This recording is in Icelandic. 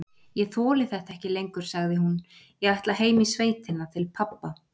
Ég þoli þetta ekki lengur, sagði hún,- ég ætla heim í sveitina til pabba.